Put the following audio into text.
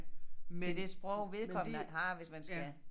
Til det sprog vedkommende har hvis man skal